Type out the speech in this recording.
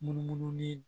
Munumunu ni